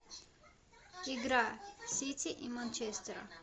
игра сити и манчестера